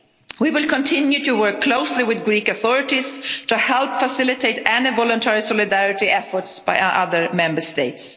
We will continue to work closely with the Greek authorities to help facilitate all voluntary solidarity efforts by other Member